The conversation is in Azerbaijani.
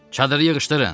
Çadırı yığışdırın!